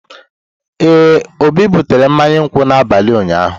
Ee, Obi butere mmanya nkwu n'abalị ụnyaahụ.